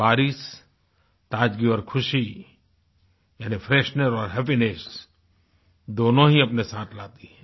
बारिश ताजगी और खुशी यानी फ्रेशनेस और हैपीनेस दोनों ही अपने साथ लाती है